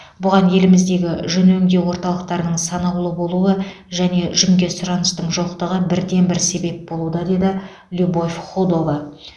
бұған еліміздегі жүн өңдеу орталықтарының санаулы болуы және жүнге сұраныстың жоқтығы бірден бір себеп болуда деді любовь худова